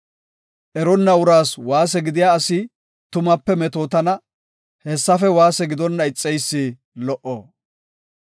Erenna uraas waase gidiya asi tumape metootana; hessafe waase gidonna ixeysi lo77o.